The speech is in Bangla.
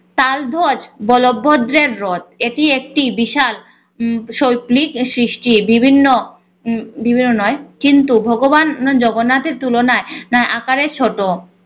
তার বলবদ্রের রথ এটি একটি বিশাল উম শৈল্পিক সৃষ্টি বিভিন্ন উম বিভিন্ন নয় কিন্তু ভগবান জগন্নাথের তুলনায় নায় আকারে ছোট